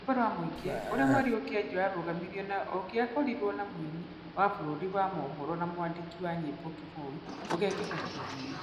Rwĩmbo rwa Mũingĩ, ũrĩa mweri ũkĩanjia warũgamirio na ũngĩakorirwo na muini wa bũrũri wa mohoro na mwandĩki wa nyĩmbo Kĩboi ũgekika kiumia.